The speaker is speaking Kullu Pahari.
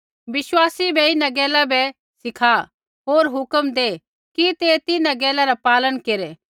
विश्वासी बै इन्हां गैला बै सीखा होर हुक्म दै कि ते तिन्हां गैला रा पालन केरै